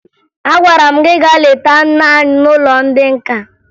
Agwara m gị gaa leta nne anyi n'ụlọ ndị nka!